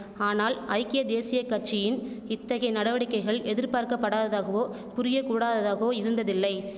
ஆனால் ஐக்கிய தேசிய கட்சியின் இத்தகை நடவடிக்கைகள் எதிர்பார்க்கப்படாததாகவோ புரிய கூடாததாகவோ இருந்ததில்லை